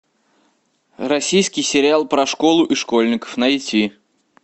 российский сериал про школу и школьников найти